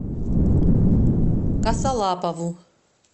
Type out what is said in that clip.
косолапову